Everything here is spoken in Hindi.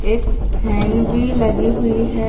एक फैन भी लगी हुई है।